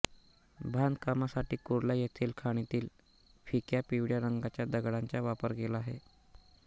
बांधकामासाठी कुर्ला येथील खाणीतील फिक्या पिवळ्या रंगाच्या दगडांचा वापर केला आहे